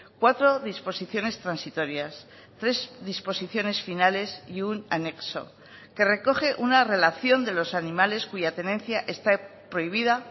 cuatro disposiciones transitorias tres disposiciones finales y un anexo que recoge una relación de los animales cuya tenencia está prohibida